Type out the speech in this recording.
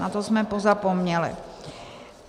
Na to jsme pozapomněli.